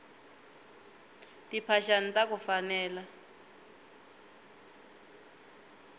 timphaxani taku fanela